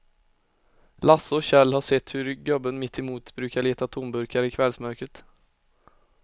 Lasse och Kjell har sett hur gubben mittemot brukar leta tomburkar i kvällsmörkret.